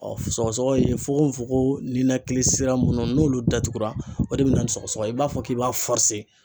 Ɔ sɔgɔsɔgɔ ye fokofokoko ninakili sira munnu n'olu datugura o de be na ni sɔgɔsɔgɔ ye ,i b'a fɔ k'i b'a